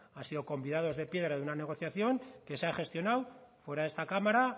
han sido convidados de piedra de una negociación que se ha gestionado fuera de esta cámara